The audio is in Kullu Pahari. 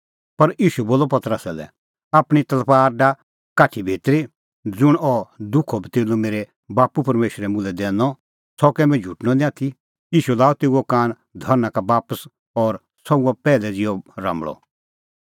पर ईशू बोलअ पतरसा लै आपणीं तलबार डाह काठी भितरी ज़ुंण अह दुखो कटोरअ मेरै बाप्पू परमेशरै मुल्है दैनअ सह कै मुंह झुटणअ निं आथी ईशू लाअ तेऊओ कान धरना का बापस और सह हुअ पैहलै ज़िहअ राम्बल़अ